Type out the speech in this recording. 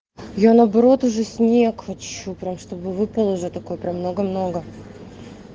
я наоборот уже снег хочу прям чтобы уже выпала такой прям много-много